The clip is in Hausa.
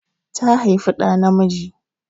Ta haifi ɗa namiji.